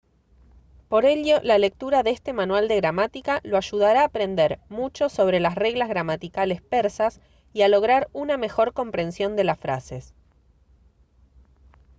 por ello la lectura de este manual de gramática lo ayudará a aprender mucho sobre las reglas gramaticales persas y a lograr una mejor comprensión de las frases